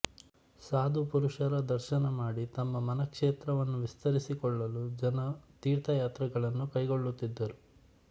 ಸಾಧು ಪುರುಷರ ದರ್ಶನ ಮಾಡಿ ತಮ್ಮ ಮನಃಕ್ಷೇತ್ರವನ್ನು ವಿಸ್ತರಿಸಿಕೊಳ್ಳಲು ಜನ ತೀರ್ಥಯಾತ್ರೆಗಳನ್ನು ಕೈಗೊಳ್ಳುತ್ತಿದ್ದರು